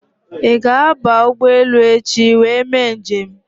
Ị ga-aba ụgbọelu echi wee mee nje m?